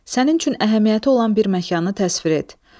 Sənin üçün əhəmiyyəti olan bir məkanı təsvir et.